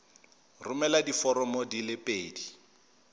romela diforomo di le pedi